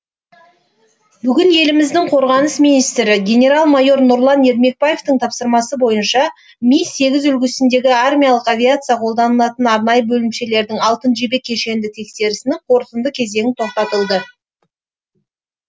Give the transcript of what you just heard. бүгін еліміздің қорғаныс министрі генерал майор нұрлан ермекбаевтың тапсырмасы бойынша ми сегіз үлгісіндегі армиялық авиация қолданылатын арнайы бөлімшелердің алтын жебе кешенді тексерісінің қорытынды кезеңі тоқтатылды